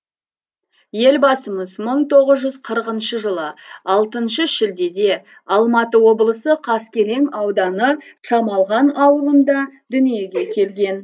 елбасымыз мың тоғыз жүз қырықыншы жылы алтыншы шілдеде алматы облысы қаскелең ауданы шамалған ауылында дүниеге келген